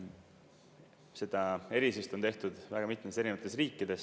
Seda erisust on tehtud väga mitmetes erinevates riikides.